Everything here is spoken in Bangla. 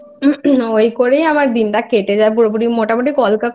আমার ওই করেই আমার দিনটা কেটে যায় পুরোপুরি মোটামুটি কল্কা করতে